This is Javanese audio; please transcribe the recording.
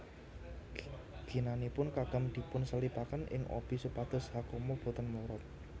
Ginanipun kagem dipunselipaken ing obi supados hakama boten mlorot